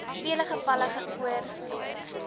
vele gevalle ongeoorloof